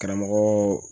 Karamɔgɔ